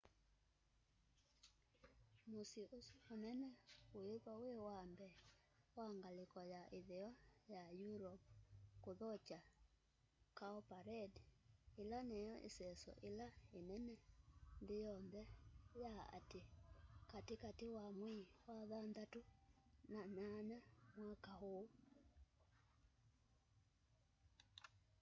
musyi usu munene wiithwa wi wa mbee wa ngaliko ya itheo ya europe kuthokya cowparade ila niyo iseso ila inene nthi yonthe ya ati kati kati wa mwei wa thanthatu na nyanya mwaka úú